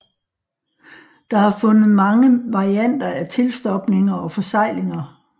Der er fundet mange varianter af tilstopninger og forseglinger